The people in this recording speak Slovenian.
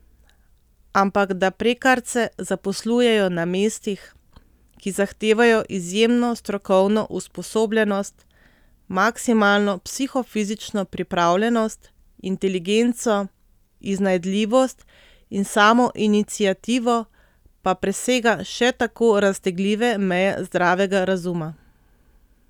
Ampak da prekarce zaposlujejo na mestih, ki zahtevajo izjemno strokovno usposobljenost, maksimalno psihofizično pripravljenost, inteligenco, iznajdljivost in samoiniciativo, pa presega še tako raztegljive meje zdravega razuma.